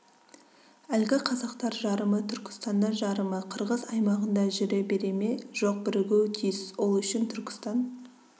әлгі қазақтар жарымы түркістанда жарымы қырғыз аймағында жүре бере ме жоқ бірігуі тиіс ол үшін түркістан